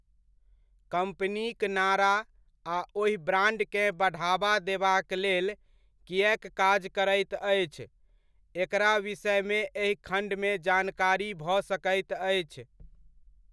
कम्पनीक नारा आ ओहि ब्रांडकेँ बढ़ावा देबाक लेल किएक काज करैत अछि, एकरा विषयमे एहि खण्डमे जानकारी भऽ सकैत अछि।